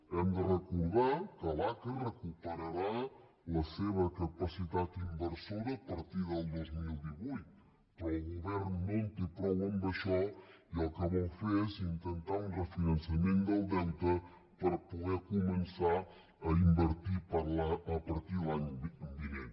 hem de recordar que l’aca recuperarà la seva capacitat inversora a partir del dos mil divuit però el govern no en té prou amb això i el que vol fer és intentar un refinançament del deute per poder començar a invertir a partir de l’any vinent